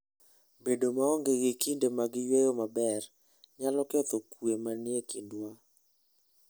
Bedo maonge gi kinde mag yueyo maber, nyalo ketho kuwe manie kindwa.